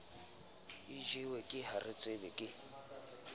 o jewe ke haretsebe ke